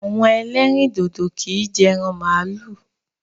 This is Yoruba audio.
Àwọn ẹlẹ́rìndòdò kì í jẹ ẹran màlúù